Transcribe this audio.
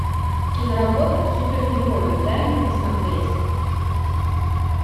киноработа супергерои дай мне посмотреть